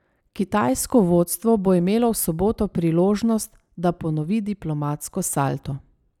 Kitajsko vodstvo bo imelo v soboto priložnost, da ponovi diplomatsko salto.